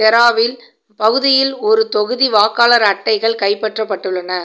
தேராவில் பகுதியில் ஒருதொகுதி வாக்காளர் அட்டைகள் கைப்பற்றப்பட்டுள்ளன